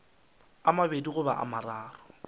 a mabedi goba a mararo